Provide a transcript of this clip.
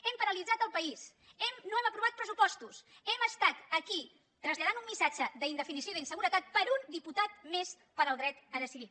hem paralitzat el país no hem aprovat pressupostos hem estat aquí traslladant un missatge d’indefinició i d’inseguretat per un diputat més per al dret a decidir